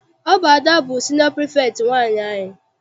Ọ bụ Ada bụ siniọ pirifektị nwaanyị anyị.